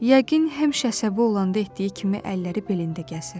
Yəqin həmişə əsəbi olanda etdiyi kimi əlləri belində gəzir.